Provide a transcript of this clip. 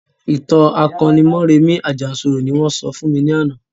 ìtàn akoni Mọ́rẹmì Àjànsorò ni wọ́n sọ fún mi lánàá.